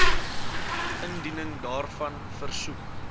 indiening daarvan versoek